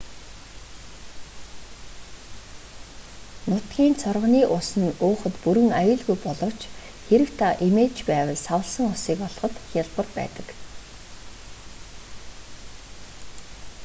нутгийн цоргоны ус нь уухад бүрэн аюулгүй боловч хэрэв та эмээж байвал савласан усыг олоход хялбар байдаг